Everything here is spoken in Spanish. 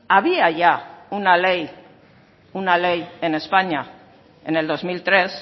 había ya una ley en españa en el dos mil tres